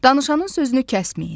Danışanın sözünü kəsməyin.